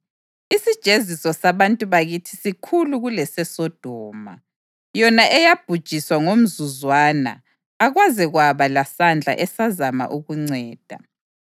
Isijeziso sabantu bakithi sikhulu kuleseSodoma, yona eyabhujiswa ngomzuzwana, akwaze kwaba lasandla esazama ukunceda.